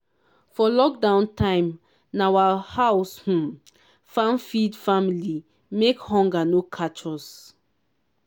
for lockdown time na our house um farm feed family make hunger no catch us